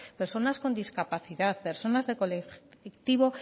personas con discapacidad personas del colectivo